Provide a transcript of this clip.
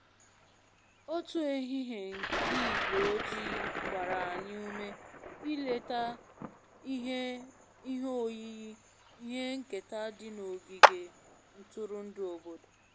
Otu ehihie nke ígwé ojii gbara anyị ume ileta ihe ihe oyiyi ihe nketa dị n'ogige ntụrụndụ obodo